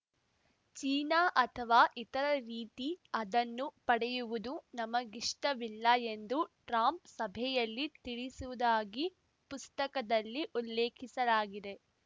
China ಅಥವಾ ಇತರರ ರೀತಿ ಅದನ್ನು ಪಡೆಯುವುದು ನಮಗಿಷ್ಟವಿಲ್ಲ ಎಂದು ಟ್ರಂಪ್‌ ಸಭೆಯಲ್ಲಿ ತಿಳಿಸುವುದಾಗಿ ಪುಸ್ತಕದಲ್ಲಿ ಉಲ್ಲೇಖಿಸಲಾಗಿದೆ